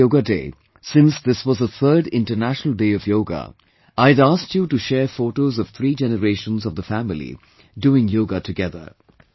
On this Yoga Day, since this was the third International Day of Yoga, I had asked you to share photos of three generations of the family doing yoga together